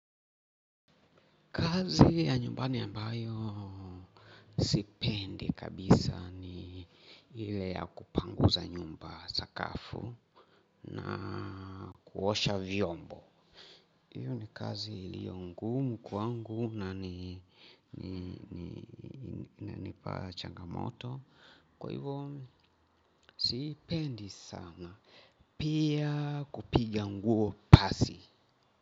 Kazi ya nyumbani ambayo sipendi kabisa ni ile ya kupanguza nyumba sakafu na kuosha vyombo. Hiyo ni kazi iliyo ngumu kwangu na inipa changamoto kwa hivyo sipendi sana pia kupiga nguo pasi.